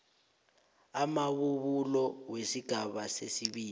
amabubulo wesigaba sesibili